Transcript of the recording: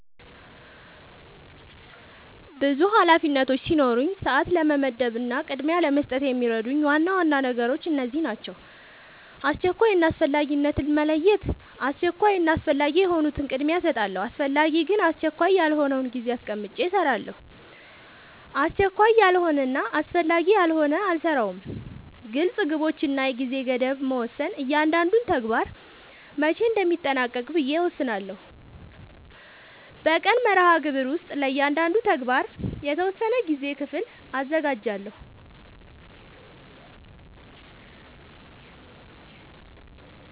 ብዙ ኃላፊነቶች ሲኖሩኝ ሰዓት ለመመደብ እና ቅድሚያ ለመስጠት የሚረዱኝ ዋና ዋና ነገሮች እነዚህ ናቸው :-# አስቸኳይ እና አስፈላጊነትን መለየት:- አስቸኳይ እና አስፈላጊ የሆኑትን ቅድሚያ እሰጣለሁ አስፈላጊ ግን አስቸካይ ያልሆነውን ጊዜ አስቀምጨ እሰራለሁ አስቸካይ ያልሆነና አስፈላጊ ያልሆነ አልሰራውም # ግልፅ ግቦች እና የጊዜ ገደብ መወሰን እያንዳንዱን ተግባር መቼ እንደሚጠናቀቅ ብዬ እወስናለሁ በቀን መርሃግብር ውስጥ ለእያንዳንዱ ተግባር የተወሰነ የጊዜ ክፍል አዘጋጃለሁ